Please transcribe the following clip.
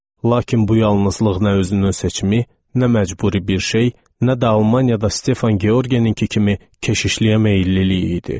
Lakin bu yalnızlıq nə özünün seçimi, nə məcburi bir şey, nə də Almaniyada Stefan Georgeninki kimi keşişliyə meyillilik idi.